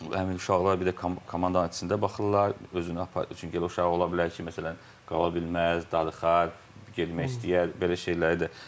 Həmin uşaqlar bir də komandanın içində baxırlar, özünü çünki elə uşaq ola bilər ki, məsələn qala bilməz, darıxar, getmək istəyər, belə şeyləri də.